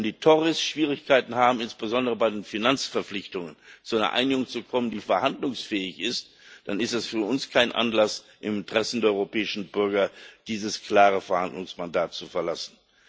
Wenn die Tories Schwierigkeiten haben, insbesondere bei den Finanzverpflichtungen, zu einer Einigung zu kommen, die verhandlungsfähig ist, dann ist das für uns kein Anlass, im Interesse der europäischen Bürger dieses klare Verhandlungsmandat zu verlassen.